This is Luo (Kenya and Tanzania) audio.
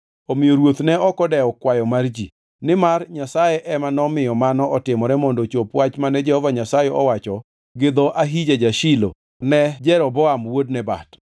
Omiyo ruoth ne ok odewo kwayo mar ji, nimar Nyasaye ema nomiyo mano otimore mondo ochop wach mane Jehova Nyasaye owacho gi dho Ahija ja-Shilo ne Jeroboam wuod Nebat.